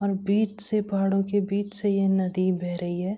और बीच से पहाड़ों के बीच से ये नदी बह रही है।